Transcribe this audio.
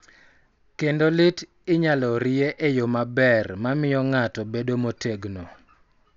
Kendo lit inyalo rie e yo maber ma miyo ng�ato bedo motegno .